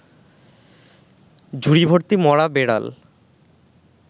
ঝুড়িভর্তি মরা বেড়াল